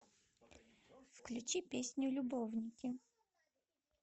включи песню любовники